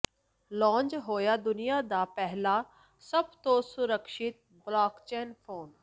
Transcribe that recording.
launch ਹੋਇਆ ਦੁਨੀਆ ਦਾ ਪਹਿਲਾ ਸਭ ਤੋਂ ਸੁਰੱਖਿਅਤ ਬਲਾਕਚੇਨ ਫੋਨ